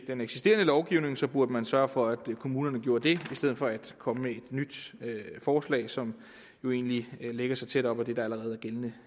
den eksisterende lovgivning så burde man sørge for at kommunerne gjorde det i stedet for at komme med et nyt forslag som jo egentlig lægger sig tæt op ad det der allerede er gældende